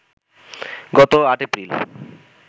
গত ৮এপ্রিল